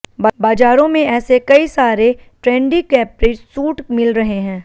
बाजारों में ऐसे कई सारे ट्रैंडी कैप्री सूट मिल रहें हैं